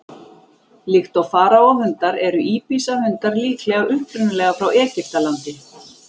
Líkt og faraó-hundar eru íbisa-hundar líklega upprunalega frá Egyptalandi.